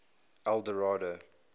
eldorado